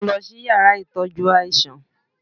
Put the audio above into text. mú lọ si ìyára itọjú aisan!